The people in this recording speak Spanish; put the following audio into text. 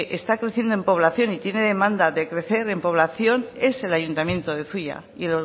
está creciendo en población y tiene demanda de crecer en población es el ayuntamiento de zuia y